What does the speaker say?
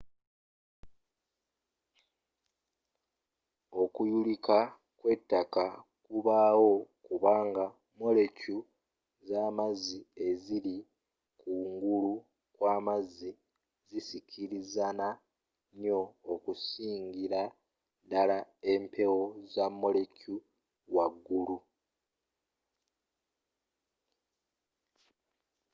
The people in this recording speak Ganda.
okuyulika kw'ettaka kubawo kubanga molekyu z'amazzi eziri ku ngulu kwa amazzi zisikirizana nnyo okusingira ddala empewo za molekyu waggulu